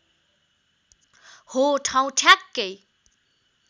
हो ठाउँ ठ्याक्कै